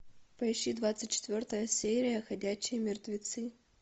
поищи двадцать четвертая серия ходячие мертвецы